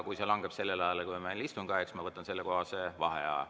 Kui see langeb istungi ajale, siis ma võtan selleks vaheaja.